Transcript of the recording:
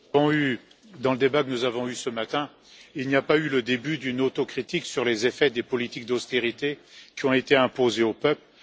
Monsieur le Président, dans le débat que nous avons eu ce matin, il n'y a pas eu le début d'une autocritique sur les effets des politiques d'austérité qui ont été imposées aux peuples.